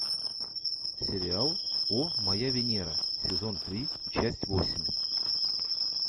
сериал о моя венера сезон три часть восемь